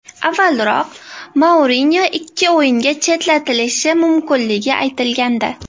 Avvalroq Mourinyo ikki o‘yinga chetlatilishi mumkinligi aytilgandi.